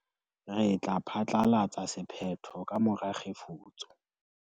re tla phatlalatsa sephetho ka mora kgefutso